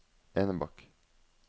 Enebakk